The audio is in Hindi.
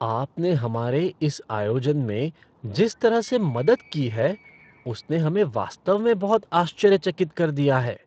आपने हमारे इस आयोजन में जिस तरह से मदद की है उसने हमें वास्तव में बहुत आश्चर्यचकित कर दिया है।